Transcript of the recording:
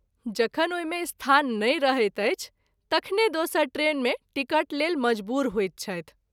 जखन ओहि मे स्थान नहिं रहैत अछि तखने दोसर ट्रेन मे टिकट लेल मजबूर होइत छथि।